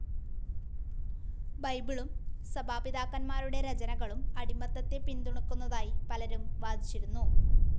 ബൈബിളും സഭാപിതാക്കൻമാരുടെ രചനകളും അടിമത്തത്തെ പിൻതുണക്കുന്നതായി പലരും വാദിച്ചിരുന്നു.